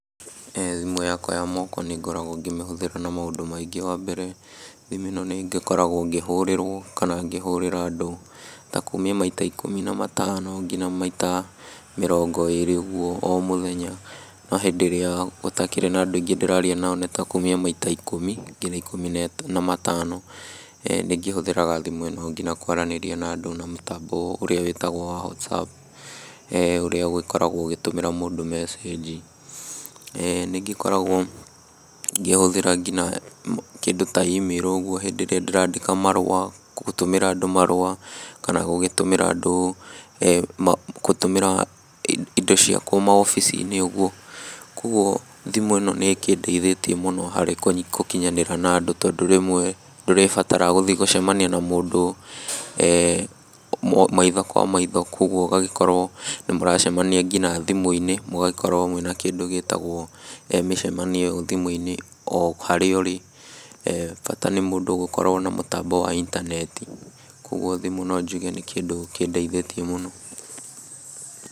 Thimũ yakwa ya moko nĩngoragwo ngĩmĩhũthĩra na maũndũ maingĩ, wambere, thimũ ĩno nĩngĩkoragwo ngĩhũrĩrwo kana ngĩhũrĩra andũ ta kumia maita ikũmi na matano nginya maita mĩrongo ĩrĩ ũguo o mũthenya. No hĩndĩ ĩrĩa gũtakĩrĩ na andũ aingĩ ndĩraria nao nĩtakumia maita ikũmi nginya ikũmi na matano. Nĩngĩhũthĩraga thimũ ĩno nginya kwaranĩria na andũ na mũtambo ũrĩa wĩtagwo wa WhatsApp ũrĩa ũgĩkoragwo ũgĩtũmĩra mũndũ mecĩngi. Nĩngĩkoragwo ngĩhũthĩra nginya kĩndũ ta imĩrũ ũguo hĩndĩ ĩrĩa ndĩrandĩka marũa, gũtũmĩra andũ marũa, kana gũgĩtũmĩra andũ gũtũmĩra indo cia kũu maobici-inĩ ũguo, kuoguo thimũ ĩno nĩĩkĩndeithĩie mũno harĩ gũkinyanĩra na andũ tondũ rĩmwe ndũrĩbatara gũthiĩ gũcemania na mũndũ maitho kwa maitho kuoguo ũgagĩkorwo nĩmũracemania nginya thimũ-inĩ mũgagĩkorwo mwĩna kĩndũ gĩtagwo mĩcemanio ĩyo thimũ-inĩ o harĩa ũrĩ, bata nĩ mũndũ gũkorwo na mũtambo wa intaneti, kuoguo thimũ no njuge nĩ kĩndũ kĩndeithĩtie mũno.